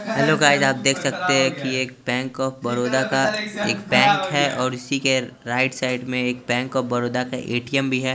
Hello guys आप देख सकते हैं कि एक बैंक ऑफ़ बरोदा का बैंक है और उसी के राईट साइड में एक बैंक ऑफ़ बरोदा का ए_टी_एम भी है।